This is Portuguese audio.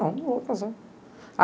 Não, não vou casar.